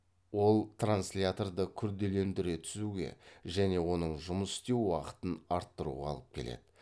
ол трансляторды күрделендіре түсуге және оның жұмыс істеу уақытын арттыруға алып келеді